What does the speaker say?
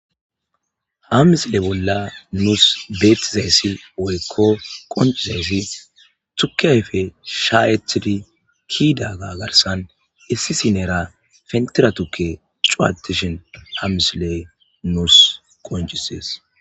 ha misile bolla nuus beettizayssi oykko qoncizayssi tuke ayfe shayetidi kidaaga garsan essi sinera fentira tukke cuatishin hamisile nuus qoncisees